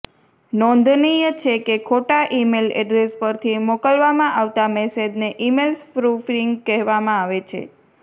નોંધનીય છે કે ખોટા ઈમેલ એડ્રેસ પરથી મોકલવામાં આવતા મેસેજને ઇમેલ સ્પૃફ્રિંગ કહેવામાં આવે છે